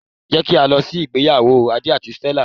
Jé kí á lọ sí ìgbéyàwó Adé àti Stella